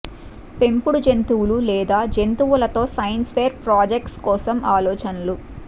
పెంపుడు జంతువులు లేదా జంతువులు తో సైన్స్ ఫెయిర్ ప్రాజెక్ట్స్ కోసం ఆలోచనలు